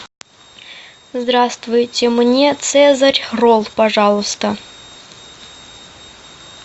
здравствуйте мне цезарь ролл пожалуйста